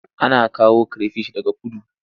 Ana kawo kire fish daga kudu.